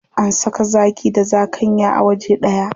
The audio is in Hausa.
An saka zaki da zakanya a waje ɗaya.